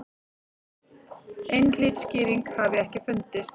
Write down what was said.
Einhlít skýring hafi ekki fundist.